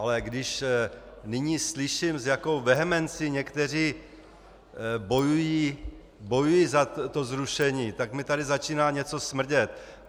Ale když nyní slyším, s jakou vehemencí někteří bojují za to zrušení, tak mi tady začíná něco smrdět.